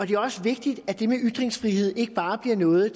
det er også vigtigt at det med ytringsfrihed ikke bare bliver noget